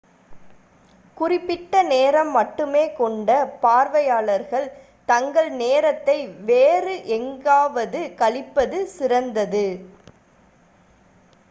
குறிப்பிட்ட நேரம் மட்டுமே கொண்ட பார்வையாளர்கள் தங்கள் நேரத்தை வேறு எங்காவது கழிப்பது சிறந்தது